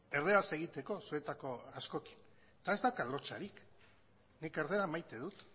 erdaraz egiteko zuetako askorekin eta ez daukat lotsarik nik erdara maite dut